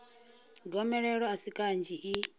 gomelelo a si kanzhi i